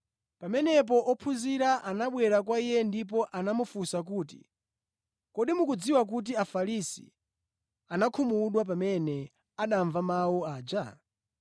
Pamenepo ophunzira anabwera kwa Iye ndipo anamufunsa kuti, “Kodi mukudziwa kuti Afarisi anakhumudwa pamene anamva mawu aja?”